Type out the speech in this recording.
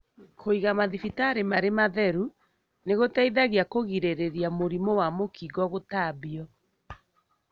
Kũiga mathibitarĩ marĩ matheru nĩgũteithagia kũgirĩrĩria mũrimũ wa mũkingo gũtambio.